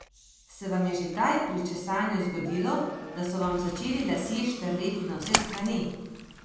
Se vam je že kdaj pri česanju zgodilo, da so vam začeli lasje štrleti na vse strani?